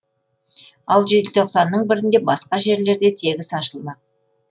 ал желтоқсанның бірінде басқа жерлерде тегіс ашылмақ